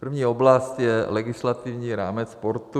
První oblast je legislativní rámec sportu.